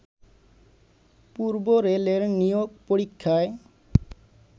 পূর্ব রেলের নিয়োগ পরীক্ষায়